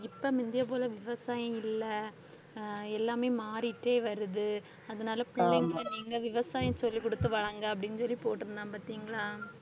இப்ப முந்தைய போல விவசாயம் இல்ல, அஹ் எல்லாமே மாறிட்டே வருது, அதனால பிள்ளைங்க நீங்க விவசாயம் சொல்லிக் கொடுத்து வளருங்க அப்படின்னு சொல்லி போட்டிருந்தான் பாத்தீங்களா?